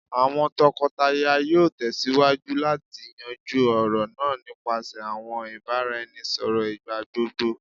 awọn tọkọtaya yoo tẹsiwaju lati yanju ọrọ naa nipasẹ awọn ibaraẹnisọrọ igbagbogbo